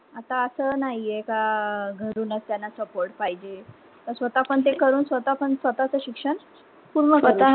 आता अस नाहीये का घरूनच त्यांना support पाहिजे स्वतः पण ते करून स्वतः च शिक्षण पूर्ण शकतात स्वतः